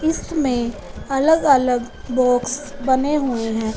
इसमें अलग अलग बॉक्स बने हुए हैं।